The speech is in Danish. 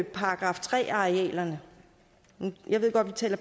§ tre arealerne jeg ved godt at